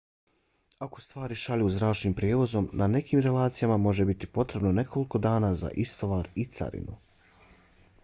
ako stvari šalju zračnim prijevozom na nekim relacijama može biti potrebno nekoliko dana za istovar i carinu